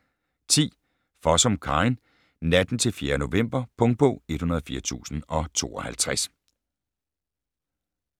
10. Fossum, Karin: Natten til fjerde november Punktbog 104052